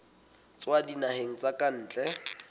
tswa dinaheng tsa ka ntle